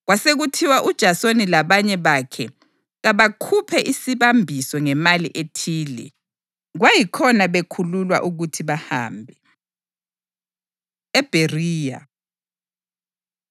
Kwasekuthiwa uJasoni labanye bakhe kabakhuphe isibambiso ngemali ethile, kwayikhona bekhululwa ukuthi bahambe. EBheriya